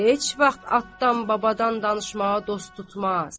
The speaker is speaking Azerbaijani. heç vaxt atdan babadan danışmağa dost tutmaz.